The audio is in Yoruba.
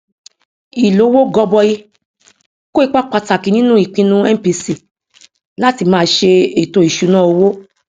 ìlówó gọbọi kó ipa pàtàkì nínú ìpinnu mpc láti máa ṣe ètò ìṣúnná owó